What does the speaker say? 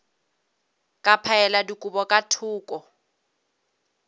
ka phaela dikobo ka thoko